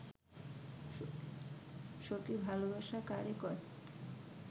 সখি ভালবাসা কারে কয়